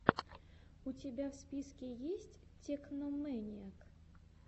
у тебя в списке есть тэкномэниак